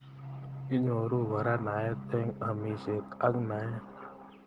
Inyoru kora naet eng amishet ak naet.